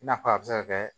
I n'a fɔ a bɛ se ka kɛ